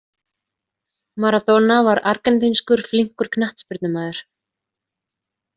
Maradona var argentínskur flínkur knattspyrnumaður.